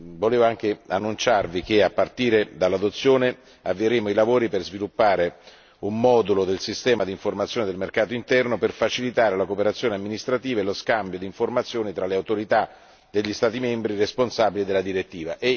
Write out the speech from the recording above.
Vorrei anche annunciare che, a partire dall'adozione, avvieremo i lavori per sviluppare un modulo del sistema d'informazione del mercato interno per facilitare la cooperazione amministrativa e lo scambio di informazioni tra le autorità degli Stati membri responsabili della direttiva.